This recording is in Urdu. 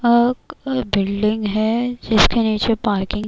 بلڈنگ ہے جس کے نیچے پارکنگ